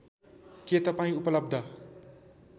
के तपाईँ उपलब्ध